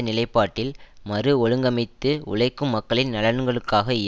நிலைப்பாட்டில் மறு ஒழுங்கமைத்து உழைக்கும் மக்களின் நலன்களுக்காக இய